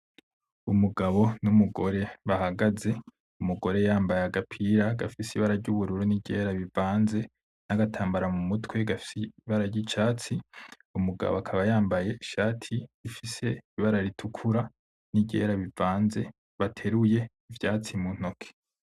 Umugabo n'umugore bahagaze, umugore yambaye agapira gafise ibara ry'ubururu n'iryera bivanze n'agatambara mu mutwe gafise ibara ry'icatsi, umugabo akaba yambaye ishati ifise ibara ritukura n'iryera bivanze bateruye ivyatsi mu ntoki.